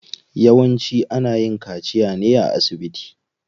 Yawanci ana yin kaciya ne a asibiti.